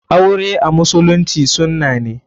Aure a musulunci sunna ne.